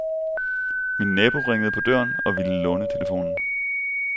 Min nabo ringede på døren og ville låne telefonen.